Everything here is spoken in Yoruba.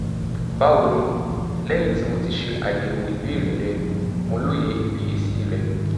bawo ni lẹhin ti mo ti ṣe ayẹwo ibeere rẹ mo loye ifiyesi rẹ